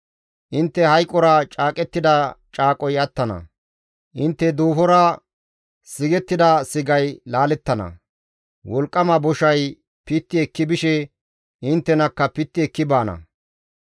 Intte hayqora caaqettida caaqoy attana; intte duufora sigettida sigay laalettana; wolqqama boshay pitti ekki bishe inttenakka pitti ekki baana.